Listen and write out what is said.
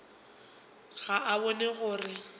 ga o bone gore o